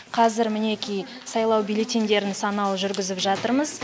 қазір мінеки сайлау бюллетеньдерін санау жүргізіп жатырмыз